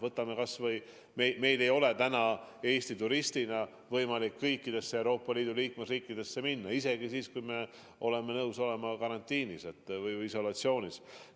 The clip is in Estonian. Võtame kas või selle, et meil ei ole täna Eesti turistina võimalik kõikidesse Euroopa Liidu liikmesriikidesse minna, isegi siis, kui me oleme nõus olema karantiinis või isolatsioonis.